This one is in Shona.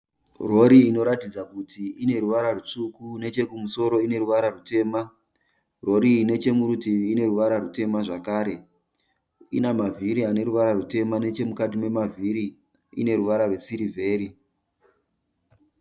Rori inoratidza kuti ine ruvara rutsvuku nechekumusoro ine ruvara rutema, Rori iyi ndechemurutivi ine ruvara rutema zvakare. Ina mavhiri ane ruvara rutema, nechemukati memavhiri ine ruvara rwesirivheri.